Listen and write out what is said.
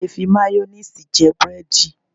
A lè fi máyónéèsì jẹ búrẹ́dì